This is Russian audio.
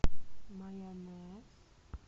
майонез